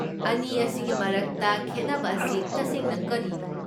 ꯑꯅꯤ ꯑꯁꯤꯒꯤ ꯃꯔꯛꯇ ꯈꯦꯠꯅꯕ ꯑꯁꯤ ꯇꯁꯦꯡꯅ ꯀꯔꯤꯅꯣ?